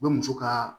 U bɛ muso ka